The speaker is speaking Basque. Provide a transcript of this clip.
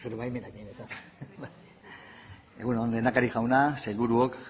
egun on lehendakari jauna sailburuok